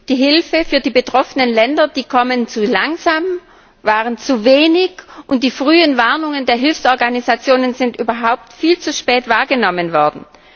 Die Hilfen für die betroffenen Länder kommen zu langsam, waren zu wenig, und die frühen Warnungen der Hilfsorganisationen sind überhaupt viel zu spät wahrgenommen worden.